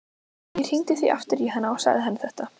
Ég hringdi því aftur í hana og sagði henni þetta.